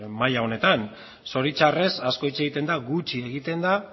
maila honetan zoritxarrez asko hitz egiten da gutxi egiten da